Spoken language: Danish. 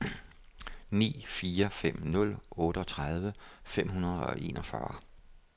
ni fire fem nul otteogtredive fem hundrede og enogfyrre